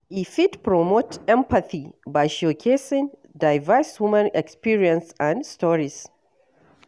E fit promote empathy by showcasing diverse human experiences and stories.